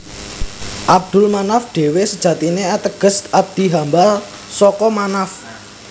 Abdul Manaf dhewe sejatine ateges abdi hamba saka Manaf